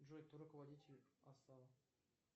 джой кто руководитель асал